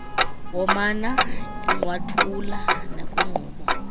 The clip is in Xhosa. womana egqwathuula nakwinkqubo